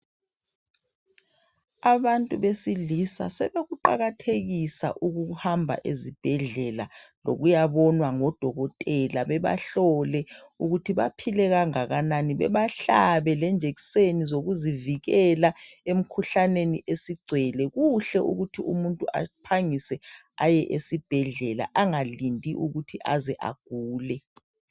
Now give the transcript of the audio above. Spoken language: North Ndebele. Abantu besilisa sebekuqakathekisa ukuhamba ezibhedlela lokuyabonwa ngodokotela bebahlole ukuthi baphile kangakanani bebahlabe lamajekiseni okuzivikela emkhuhlaneni esigcwele. Kuhle ukuthi umuntu aphangise aye esibhedlela angalindi ukuthi aze agule.